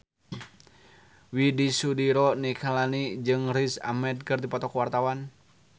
Widy Soediro Nichlany jeung Riz Ahmed keur dipoto ku wartawan